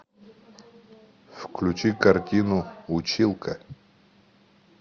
включи картину училка